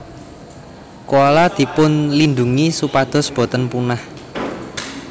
Koala dipunlindungi supados boten punah